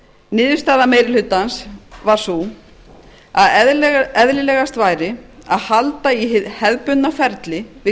niðurstaða meiri hlutans var sú að eðlilegast væri að halda í hið hefðbundna ferli við